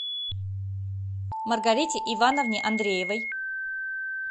маргарите ивановне андреевой